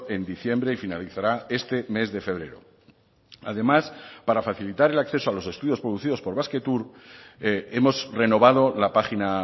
en diciembre y finalizará este mes de febrero además para facilitar el acceso a los estudios producidos por basquetour hemos renovado la página